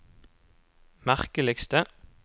merkeligste